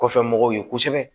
Kɔfɛ mɔgɔw ye kosɛbɛ